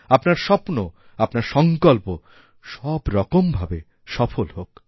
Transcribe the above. আপনার স্বপ্ন আপনার সংকল্প সবরকম ভাবে সফলহোক